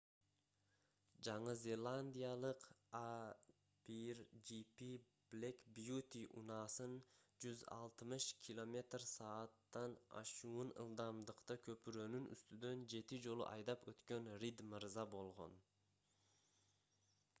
жаңы зеландиялык a1gp black beauty унаасын 160 км/с. ашуун ылдамдыкта көпүрөнүн үстүнөн жети жолу айдап өткөн рид мырза болгон